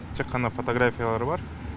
тек қана фотографиялары бар